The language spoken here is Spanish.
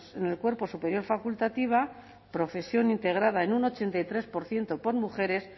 en el cuerpo superior facultativa profesión integrada en un ochenta y tres por ciento por mujeres